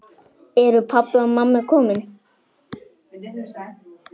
Eru pabbi og mamma komin?